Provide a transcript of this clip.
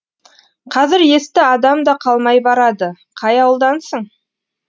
қазір есті адам да қалмай барады қай ауылдансың